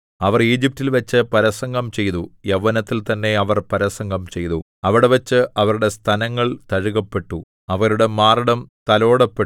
അവർ ഈജിപ്റ്റിൽവെച്ച് പരസംഗം ചെയ്തു യൗവനത്തിൽ തന്നെ അവർ പരസംഗം ചെയ്തു അവിടെവച്ച് അവരുടെ സ്തനങ്ങൾ തഴുകപ്പെട്ടു അവരുടെ മാറിടം തലോടപ്പെട്ടു